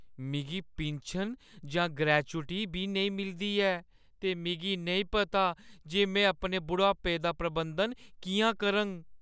मिगी पिन्शन जां ग्रैच्युटी बी नेईं मिलदी ऐ ते मिगी नेईं पता जे में अपने बुढ़ापे दा प्रबंधन किʼयां करङ।